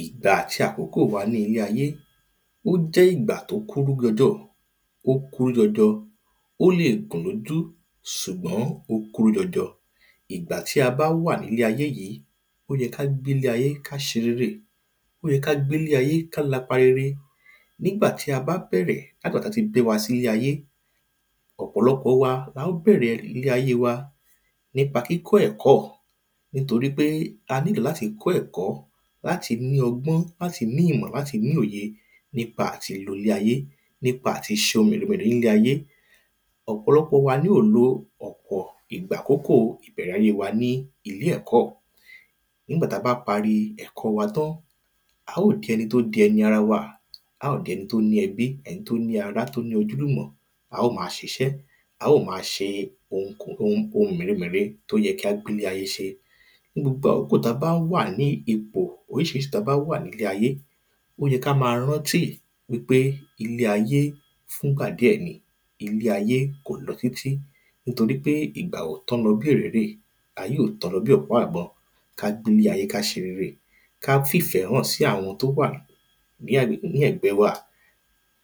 Ìgbà àti àkókò wa ní ilé ayé ó jẹ́ ìgbà tí ó kéré jọjọ ó kúrú jọjọ ó lè gùn lójú ṣùgbọ́n ó kúrú jọjọ. Ìgbà tí a bá wà nílé ayé yìí ó yẹ ká gbélé ayé ká ṣe rere ó yẹ ká gbélé ayé ká lapa rere nígbà tá bá bẹ̀rẹ̀ látigbà tán ti bí wa sílé ayé ọ̀pọ̀lọpọ̀ wa la ó bẹ̀rẹ̀ ilé ayé wa nípa kíkọ́ ẹ̀kọ́ nítorípé a nílò láti kọ́ ẹ̀kọ́ láti ní ọgbọ́n láti ní ìmọ̀ láti ní òye nípa àti lo ilé ayé nípa àti ṣohun rere nílé ayé. Ọ̀pọ̀lọpọ̀ wa ni ó lo ọ̀pọ̀ àkókò ìbẹ̀rẹ̀ ayé wa ní ilé ẹ̀kọ́ nígbà tá bá parí ẹ̀kọ́ wa tán á ó di ẹni tó di ẹni ara wa á ó di ẹni tó ní ẹbí ẹni tó ní ará ojúlùmọ̀ á ó má ṣiṣẹ́ á ó má ṣe ohun mère mère tó yẹ ká gbélé ayé ṣe. Ní gbogbo àkókò tá bá wà ní ipò oríṣiríṣi tá bá wà nílé ayé ó yẹ ká má rántí pé ilé ayé fún gbà díẹ̀ ni ilé ayé kò lọ títí nítorípé ìgbà ò tán lọ bí òréré ayé ò tán lọ bí ọ̀pá ìbọn. Ká gbélé ayé ká ṣerere ká fìfẹ́ hàn sí àwọn tó wà ní agbègbè ní ẹ̀gbẹ́ wa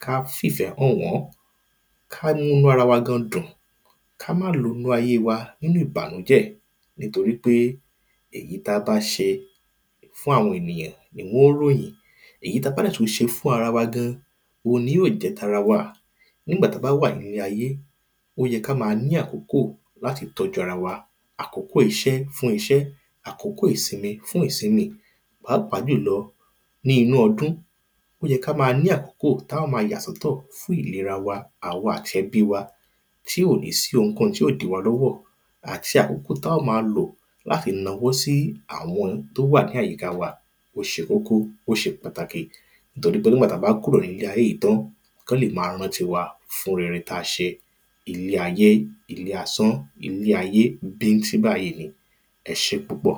ká fìfẹ́ hàn wọ́n ká múnú ara wa gan dùn ká má lo ilé ayé wa nínú ìbànújẹ́ nítorípé èyí tá bá ṣe fún àwọn ènìyàn ni wọn ó ròyìn èyí tá bá sì tún ṣe fún ara wa gan òhun ni yó jẹ́ tara wa nígbà tá bá wà nílé ayé ó yẹ ká má ní àkókò láti tọ́jú ara wa àkókò iṣẹ́ fún iṣẹ́ àkókò ìsinmi fún ìsinmi. Pàápàá jùlọ ní inú ọdún ó yẹ ká má ní àkókò tá ó má yà sọ́tọ̀ fún ìlera wa àwa àti ẹbí wa tí ò ní sí ohun kóhun tí ó dí wa lọ́wọ́ àti àkókò tá ó ma lò láti nawó sí àwọn tó wà ní àyíká wa ó ṣe kókó ó ṣe pàtàkì torípé nígbà tá bá kúrò nílé ayé yìí tán kán lè má rántí wa fún rere tá ṣe. Ilé ayé ilé asán ilé ayé bíntín báyìí ni ẹṣé púpọ̀.